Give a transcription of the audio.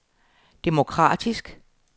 demokratisk